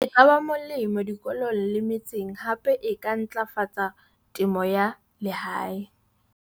E ka ba molemo dikolong le metseng hape e ka ntlafatsa temo ya lehae.